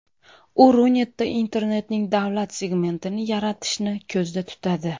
U Runetda internetning davlat segmentini yaratishni ko‘zda tutadi.